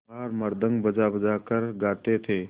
चमार मृदंग बजाबजा कर गाते थे